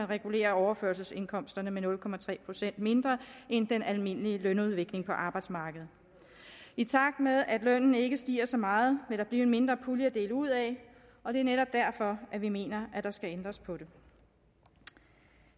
regulerer overførselsindkomsterne med nul procent mindre end den almindelige lønudvikling på arbejdsmarkedet i takt med at lønnen ikke stiger så meget vil der blive en mindre pulje at dele ud af og det er netop derfor vi mener at der skal ændres på det